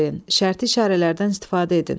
Şərti işarələrdən istifadə edin.